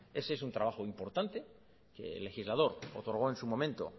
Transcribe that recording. ese es un trabajo importante que el legislador otorgó en su momento